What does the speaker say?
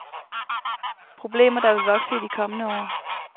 Problemer, der vil vokse i de kommende år.